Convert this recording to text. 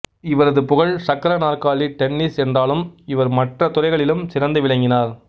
இவரது புகழ் சக்கர நாற்காலி டென்னிஸ் என்றாலும் இவர் மற்ற துறைகளிலும் சிறந்து விளங்கினார்